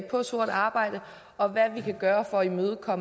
på sort arbejde og hvad vi kan gøre for at imødegå